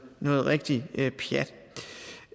noget rigtig pjat